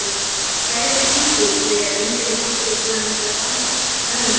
Skæðar tungur segja að yngri dóttir þeirra sé rangfeðruð.